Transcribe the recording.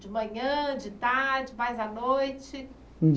De manhã, de tarde, mais à noite?